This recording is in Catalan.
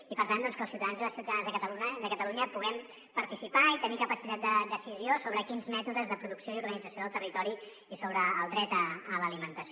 i per tant doncs que els ciutadans i les ciutadanes de catalunya puguem participar i tenir capacitat de decisió sobre quins mètodes de producció i organització del territori i sobre el dret a l’alimentació